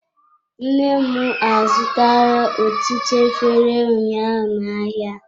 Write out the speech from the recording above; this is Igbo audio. Nne m azụtara ọtụtụ efere ụnyaahụ na-ahịa.